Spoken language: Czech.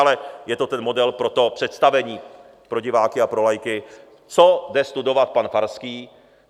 Ale je to ten model pro to představení pro diváky a pro laiky, co jde studovat pan Farský.